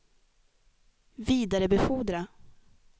vidarebefordra